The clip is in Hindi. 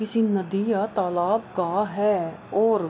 किसी नदी या तालाब का है और --